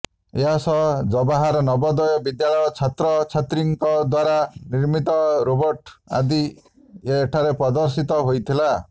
ଏହାସହ ଜବାହାର ନବୋଦୟ ବିଦ୍ୟାଳୟ ଛାତ୍ରଛାତ୍ରୀଙ୍କ ଦ୍ୱାରା ନିର୍ମିତ ରୋବୋଟ୍ ଆଜି ଏଠାରେ ପ୍ରଦର୍ଶିତ ହୋଇଥିଲା